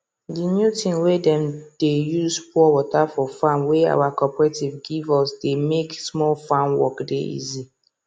the new thing wey dem dey use pour water for farm wey our cooperative give usthey make small farm work dey easy